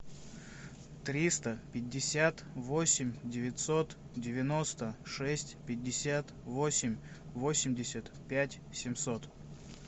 триста пятьдесят восемь девятьсот девяносто шесть пятьдесят восемь восемьдесят пять семьсот